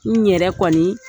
N yɛrɛ kɔni